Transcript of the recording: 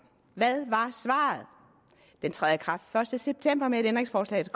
hvad var svaret den træder i kraft den første september med et ændringsforslag